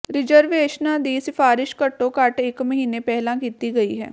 ਰਿਜ਼ਰਵੇਸ਼ਨਾਂ ਦੀ ਸਿਫਾਰਸ਼ ਘੱਟੋ ਘੱਟ ਇੱਕ ਮਹੀਨੇ ਪਹਿਲਾਂ ਕੀਤੀ ਗਈ ਹੈ